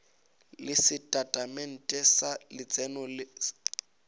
le setatamente sa letseno le